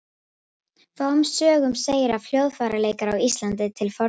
Fáum sögum segir af hljóðfæraleik á Íslandi til forna.